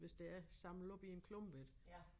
Hvis det er samle op i en klump ik